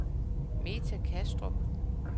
Meta Kastrup